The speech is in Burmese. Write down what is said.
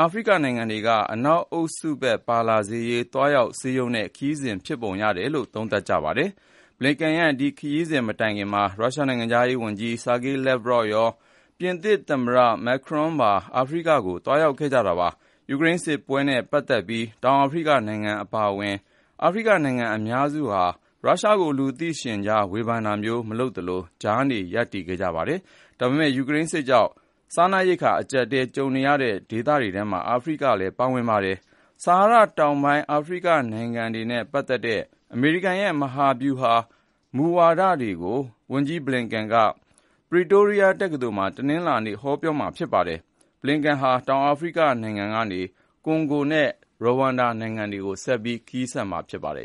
အာဖရိကနိုင်ငံတွေက အနောက်အုပ်စု ပါလာစေရေး သွားရောက်စည်းရုံးတဲ့ ခရီးစဉ်ဖြစ်ပုံရတယ်လို့ သုံးသပ်ကြပါတယ်။ Blinken ရဲ့ ဒီခရီးစဉ် မတိုင်ခင်မှာ ရုရှားနိုင်ငံခြားရေးဝန်ကြီး Sergey Lavrov ရော ၊ ပြင်သစ်သမ္မတ Emmanuel Macron ပါ အာဖရိကကို သွားရောက်ခဲ့ကြ တာပါ။ ယူကရိန်းစစ်ပွဲနဲ့ ပတ်သက်ပြီး တောင်အာဖရိကနိုင်ငံ အပါအဝင် အာဖရိကနိုင်ငံအများစုဟာ ရုရှားကို လူသိရှင်ကြား ဝေဖန်တာမျိုး မလုပ်သလို ၊ ကြားနေ ရပ်တည်ခဲ့ကြတာပါ။ ဒါပေမဲ့ ယူကရိန်းစစ်ကြောင့် စားနပ်ရိက္ခာ အကျပ်အတည်း ကြုံနေရတဲ့ ဒေသတွေထဲမှာ အာဖရိကနိုင်ငံတွေလည်း ပါဝင်ပါတယ်။ ဆာဟာရတောင်ပိုင်း အာဖရိကနိုင်ငံတွေနဲ့ ပတ်သက်တဲ့ အမေရိကန်ရဲ့ မဟာဗျူဟာ အဓိကမူဝါဒတွေကို ဝန်ကြီး Blinken က Pretoria တက္ကသိုလ်မှာ တနင်္လာနေ့ ဟောပြောမှာ ဖြစ်ပါတယ်။ Blinken ဟာ တောင်အာဖရိကနိုင်ငံကနေ ကွန်ဂို၊ ရဝမ်ဒါ နိုင်ငံတွေကို ဆက်ပြီး သွားရောက်မှာ ဖြစ်ပါတယ်